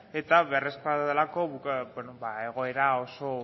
eta beharrezkoa delako egoera oso